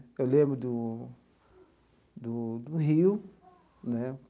Eu lembro do do do rio, né?